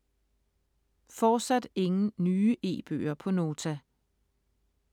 Fortsat ingen nye e-bøger på Nota